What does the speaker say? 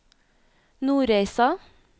Nordreisa